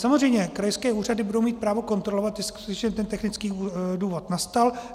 Samozřejmě krajské úřady budou mít právo kontrolovat, jestliže ten technický důvod nastal.